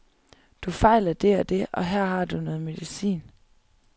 Du fejler det og det, og her har du noget medicin.